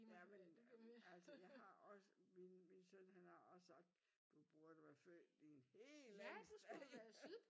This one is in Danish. Ja men altså jeg har også min søn han har også sagt: du burde være født i et helt andet sted